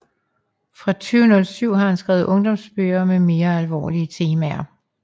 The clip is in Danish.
Fra 2007 har han skrevet ungdomsbøger med mere alvorlige temaer